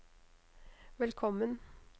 velkommen